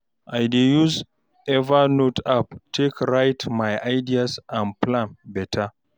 I dey use evernote app take write my ideas and plan beta